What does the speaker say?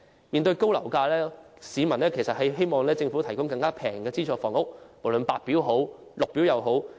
面對樓價高企，市民都希望政府能夠提供更便宜的資助房屋，無論是白表還是綠表房屋。